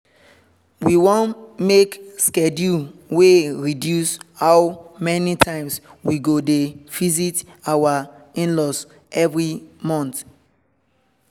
we make schedule wey reduce how many times we go dey visit our in-laws every month